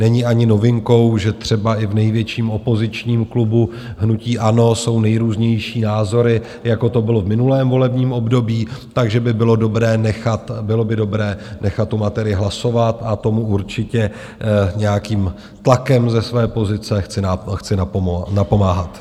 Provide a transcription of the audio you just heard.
Není ani novinkou, že třeba i v největším opozičním klubu hnutí ANO jsou nejrůznější názory, jako to bylo v minulém volebním období, takže by bylo dobré nechat tu materii hlasovat a tomu určitě nějakým tlakem ze své pozice chci napomáhat.